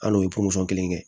Al'o ye kelen kɛ